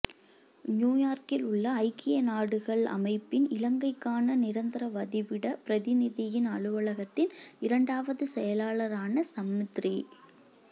நியூயோர்க்கில் உள்ள ஐக்கிய நாடுகள் அமைப்பின் இலங்கைக்கான நிரந்தரவதிவிட பிரதிநிதியின் அலுவலகத்தின் இரண்டாவது செயலாளரான சம்மித்ரி